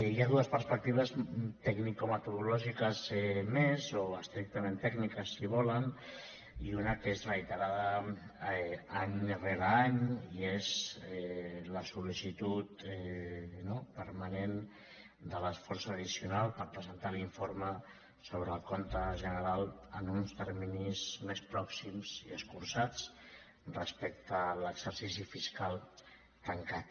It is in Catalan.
hi ha dues perspectives tecnicometodològiques més o estrictament tècniques si volen i una que és reiterada any rere any i és la sol·licitud no permanent de l’esforç addicional per presentar l’informe sobre el compte general en uns terminis més pròxims i escurçats respecte a l’exercici fiscal tancat